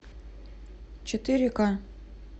четыре ка